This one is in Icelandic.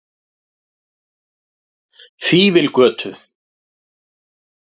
Fífilgötu